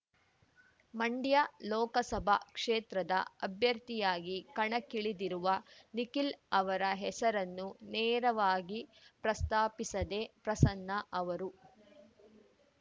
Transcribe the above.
ಮಂಡ್ಯ ಲೋಕಸಭಾ ಕ್ಷೇತ್ರದ ಅಭ್ಯರ್ಥಿಯಾಗಿ ಕಣಕ್ಕಿಳಿದಿರುವ ನಿಖಿಲ್‌ ಅವರ ಹೆಸರನ್ನು ನೇರವಾಗಿ ಪ್ರಸ್ತಾಪಿಸದೆ ಪ್ರಸನ್ನ ಅವರು